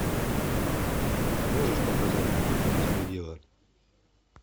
можешь показать по пути беспредела